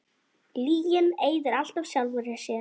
Lygin eyðir alltaf sjálfri sér.